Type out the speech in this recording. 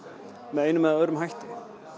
með einum eða öðrum hætti